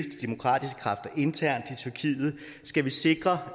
demokratiske kræfter internt i tyrkiet skal vi sikre